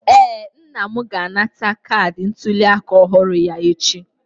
Ee, nna m ga-anata kaadị ntuliaka ọhụrụ ya echi.